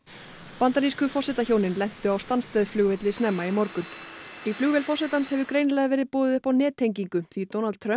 bandarísku forsetahjónin lentu á flugvelli snemma í morgun í flugvél forsetans hefur greinilega verið boðið upp á nettengingu því Donald Trump